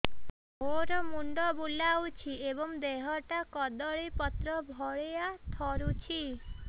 ମୋର ମୁଣ୍ଡ ବୁଲାଉଛି ଏବଂ ଦେହଟା କଦଳୀପତ୍ର ଭଳିଆ ଥରୁଛି